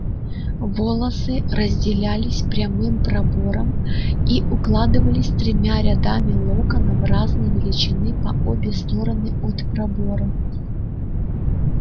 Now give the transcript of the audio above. волосы разделялись прямым пробором и укладывались тремя рядами локонов разной величины по обе стороны от пробора